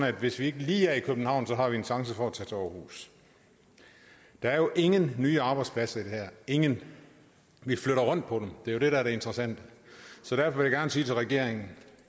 at hvis vi ikke lige er i københavn har vi en chance for at tage til aarhus der er jo ingen nye arbejdspladser i det her ingen vi flytter rundt på dem det er jo det der er det interessante så derfor vil jeg gerne sige til regeringen